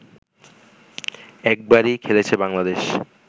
একবারই খেলেছে বাংলাদেশ